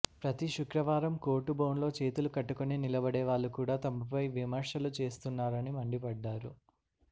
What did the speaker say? ప్రతి శుక్రవారం కోర్టు బోనులో చేతులు కట్టుకుని నిలబడేవాళ్లు కూడా తమపై విమర్శలు చేస్తున్నారని మండిపడ్డారు